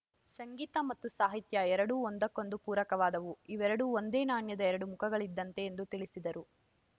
ಸಂಗೀತ ಮತ್ತು ಸಾಹಿತ್ಯ ಎರಡೂ ಒಂದಕ್ಕೊಂದು ಪೂರಕವಾದವು ಇವೆರಡೂ ಒಂದೇ ನಾಣ್ಯದ ಎರಡು ಮುಖಗಳಿದ್ದಂತೆ ಎಂದು ತಿಳಿಸಿದರು